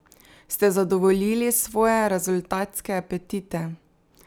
Ste zadovoljili svoje rezultatske apetite?